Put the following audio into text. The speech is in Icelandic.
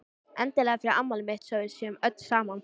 Endilega fyrir afmælið mitt svo að við séum öll saman.